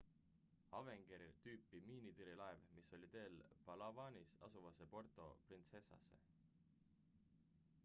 avenger-tüüpi miinitõrjelaev mis oli teel palawanis asuvasse puerto princesasse